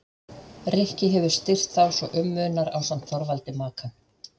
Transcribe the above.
Rikki hefur styrkt þá svo um munar ásamt Þorvaldi Makan.